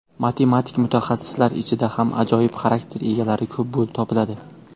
Matematik mutaxassislar ichida ham ajoyib xarakter egalari ko‘plab topiladi.